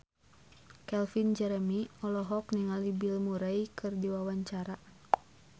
Calvin Jeremy olohok ningali Bill Murray keur diwawancara